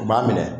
U b'a minɛ